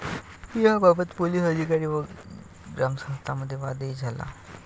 याबाबत पोलिस अधिकारी व ग्रामस्थांमध्ये वादही झाला.